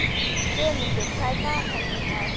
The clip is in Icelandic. slefmundur, hvað er í dagatalinu í dag?